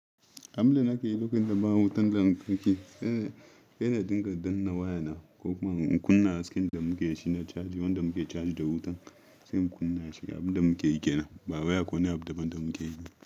Abun da nake yi lokacin da ba wutan lantarki, sai na dinga danna waya na ko kuma in kunna hasken da muke shi na caji, wanda muke caji da wutan sai in kunna shi abin da muke yi kenan, ba wai akwai wani abu da ban da muke yiba.